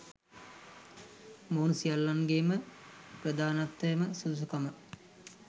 මොවුන් සියල්ලන්ගේම ප්‍රධානතම සුදුසුකම